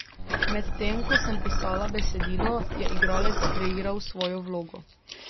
Med tem ko sem pisala besedilo, je igralec kreiral svojo vlogo.